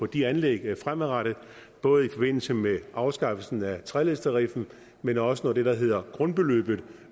de anlæg fremadrettet både i forbindelse med afskaffelsen af treledstariffen men også når det der hedder grundbeløbet